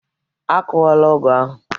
Akụwala ọgụ ahụ!